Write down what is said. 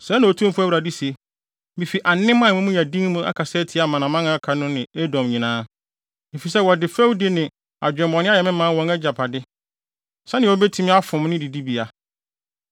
Sɛɛ na Otumfo Awurade se: Mifi anem a emu yɛ den mu akasa atia amanaman a aka no ne Edom nyinaa, efisɛ wɔde fɛwdi ne adwemmɔne ayɛ me man wɔn agyapade, sɛnea wobetumi afom ne didibea.’